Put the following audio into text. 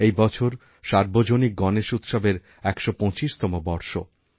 এই বছর সার্বজনিক গণেশ উৎসবের১২৫তম বর্ষ